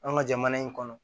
An ka jamana in kɔnɔ